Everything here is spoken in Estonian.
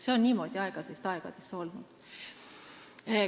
See on niimoodi olnud ajast aega.